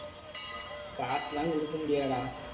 காசெல்லாம் குடுக்க முடியாதுடா.